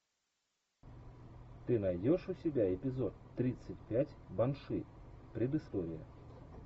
ты найдешь у себя эпизод тридцать пять банши предыстория